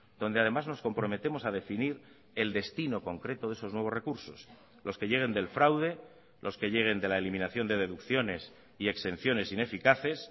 donde además nos comprometemos a definir el destino concreto de esos nuevos recursos los que lleguen del fraude los que lleguen de la eliminación de deducciones y exenciones ineficaces